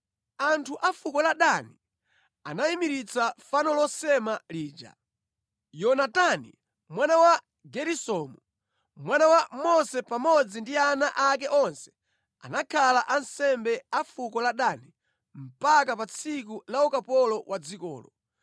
Anthu a fuko la Dani anayimiritsa fano losema lija. Yonatani mwana wa Geresomu, mwana wa Mose pamodzi ndi ana ake onse anakhala ansembe a fuko la Dani mpaka pa tsiku la ukapolo wa dzikolo.